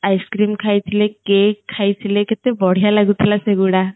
ice cream ଖାଇ ଥିଲେ cake ଖାଇ ଥିଲେ କେତେ ବଢ଼ିଆ ଲାଗୁ ଥିଲା ସେ ଗୁଡା